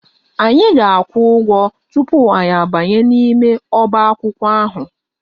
Anyị ga-akwụ ụgwọ tupu anyị abanye n'ime ọbaakwụkwọ ahụ